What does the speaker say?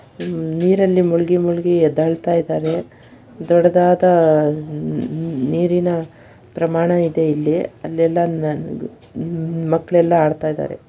ನೀರಿನಲ್ಲಿ ಮುಳುಗಿ ಮುಳುಗಿ ಎದ್ದೇಳುತ್ತಿದ್ದಾರೆ ದೊಡ್ಡದಾದ ನೀರಿನ ಪ್ರಮಾಣ ಇದೆ ಇಲ್ಲಿ ಅಲ್ಲೆಲ್ಲಾ ಮಕ್ಕಳೆಲ್ಲಾ ಆಡ್ತಾಯಿದರೆ.